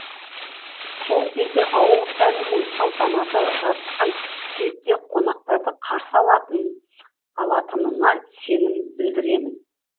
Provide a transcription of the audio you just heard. сол кезде ауыл сәні мен салтанаты жарасқан кейіпте қонақтарды қарсы алатынына сенім білдіремін